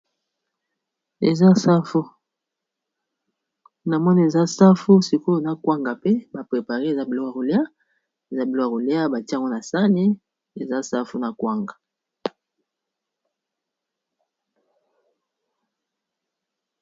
Eza safu, na moni sikoyo na kwanga mpe ba prepare. Eza bilokô ya kolîa, batie yango na sani. Eza safu na kwanga.